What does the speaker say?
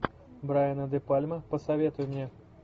брайана де пальма посоветуй мне